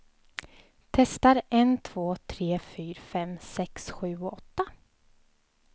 Testar en två tre fyra fem sex sju åtta.